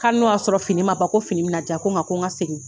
K'a hali n'o y'a sɔrɔ fini man ban ko fini bɛ na di yan ko n ko n ka segin.